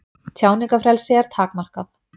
Tjáningarfrelsi er takmarkað